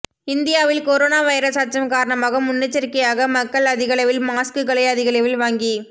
இந்தியாவில் corona virus அச்சம் காரணமாக முன்னெச்சரிக்கையாக மக்கள் அதிகளவில் மாஸ்க்குகளை அதிகளவில் வாங்கி